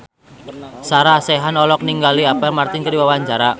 Sarah Sechan olohok ningali Apple Martin keur diwawancara